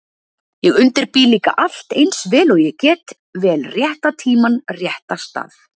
Ég undirbý líka allt eins vel og ég get, vel rétta tímann, rétta stað